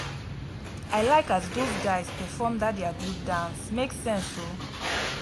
i like as dose guys perform dat their group dance make sense o